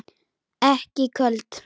Ekki köld.